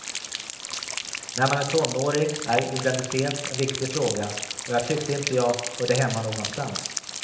När man är tonåring är identitet en viktig fråga och jag tyckte inte jag hörde hemma någonstans.